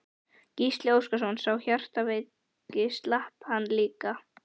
Gísli Óskarsson: Sá hjartveiki, slapp hann líka?